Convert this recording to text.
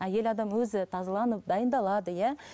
әйел адам өзі тазаланып дайындалады иә